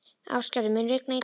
Ástgerður, mun rigna í dag?